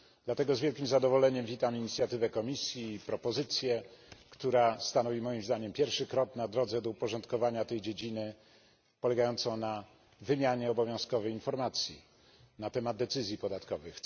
Dlatego z wielkim zadowoleniem witam inicjatywę Komisji i propozycję, która stanowi moim zdaniem pierwszy krok na drodze do uporządkowania tej dziedziny, polegającą na wymianie obowiązkowej informacji na temat decyzji podatkowych.